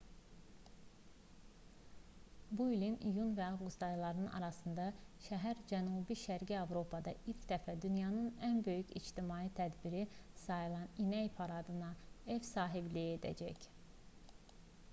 bu ilin iyun və avqust ayları arasında şəhər cənub-şərqi avropada ilk dəfə dünyanın ən böyük ictimai tədbiri sayılan i̇nək paradına ev sahibliyi edəcək